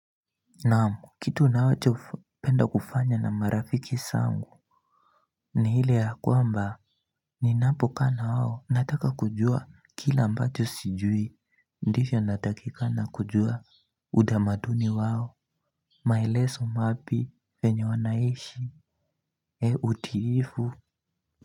Naam kitu ninachopenda kufanya na marafiki zangu ni ile ya kwamba ninapokaa na wao nataka kujua kila ambacho sijui ndivyo natakikana kujua utamaduni wao maelezo mapi yenye wanaishi utiifu.